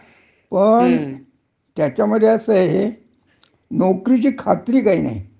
आणि केव्हा तुम्हाला नोकरीवरन काढून टाकतील, हं. हेच सांगता येत नाही.